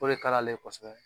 O de ka d'ale ye kɔsɛbɛ.